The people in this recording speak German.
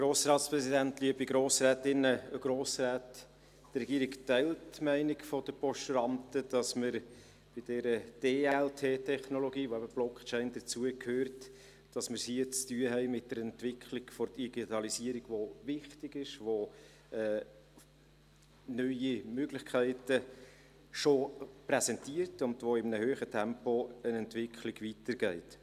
Die Regierung teilt die Meinung der Postulanten, dass man es bei dieser DLT-Technologie, zu der eben die Blockchain dazugehört, mit der Entwicklung der Digitalisierung zu tun hat, die wichtig ist, die neue Möglichkeiten schon präsentiert und bei der in einem hohen Tempo eine Entwicklung weitergeht.